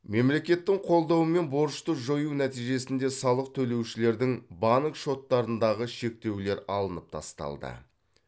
мемлекеттің қолдаумен борышты жою нәтижесінде салық төлеушілердің банк шоттарындағы шектеулер алынып тасталды